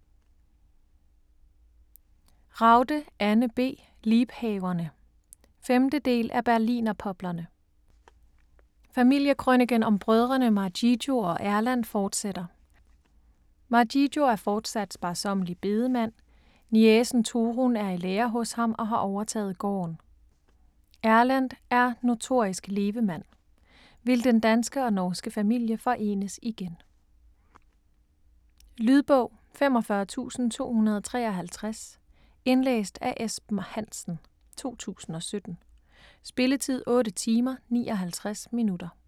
Ragde, Anne B.: Liebhaverne 5. del af Berlinerpoplerne. Familiekrøniken om brødrene Margigo og Erlend fortsætter. Margigo er fortsat sparsommelig bedemand, niecen Torunn er i lære hos ham og har overtaget gården. Erlend er notorisk levemand. Vil den danske og norske familie forenes igen? Lydbog 45253 Indlæst af Esben Hansen, 2017. Spilletid: 8 timer, 59 minutter.